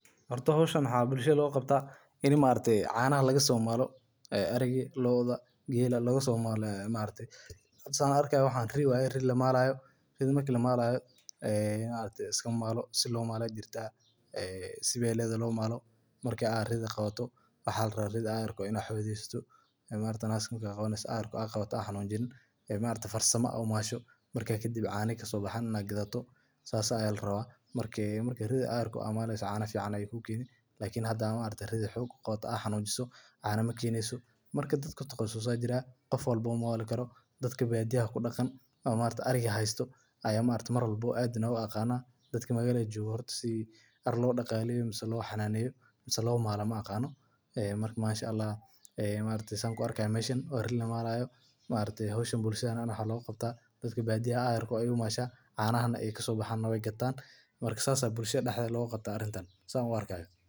Horta hoshan waxaa bulshaada loga qabta ini maaragte canaha laga somalo ee ariga lodha gela laga somalo san arki hayo waxan ri lamalayo waye si weyn aya lomali haya waxaa larawa ridha in ee xodessto marka kadib cana akaso masho gadatosas aya larawa marka ridha aa ayar maleyso cana ayey ku keneysa lakin hada xog umadho cana makeneyso marka danbe dad kutaqasuse aya jira dadka badiyaha jogo aya yaqana lakin dadka magalada jogo mayaqanan mase lo malo mayaqanan marka sitha an mesha ku arkayo maaragte hodhan bulshaada aya ax loga qabtaa cana aya kasobaxan wey gatan lacag ayey kahelan marka sithan aya wax loga qabtaa bulshaada san u arkayo.